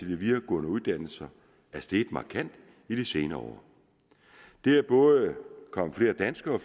de videregående uddannelser er steget markant i de senere år det er både kommet flere danske og